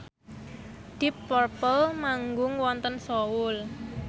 deep purple manggung wonten Seoul